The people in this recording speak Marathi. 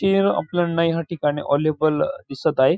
ते आपल्याला ह्या ठिकाणी ऑलीबॉल दिसत आहे.